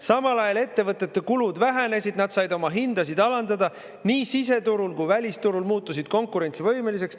Samal ajal ettevõtete kulud vähenesid, nad said oma hindasid alandada, nii siseturul kui välisturul muutusid konkurentsivõimeliseks.